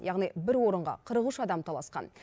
яғни бір орынға қырық үш адам таласқан